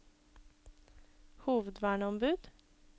hovedverneombud